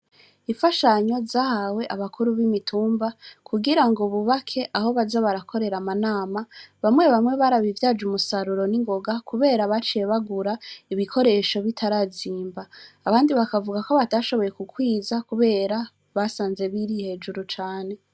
Ifashanyo zahawe abakuru b'imitumba kugira ngo bubake aho baza barakorera amanama bamwe bamwe barabivyaje umusaruro n'ingoga, kubera baciebagura ibikoresho bitarazimba abandi bakavuga ko batashoboye kukwiza, kubera basanze biri hejuru cane.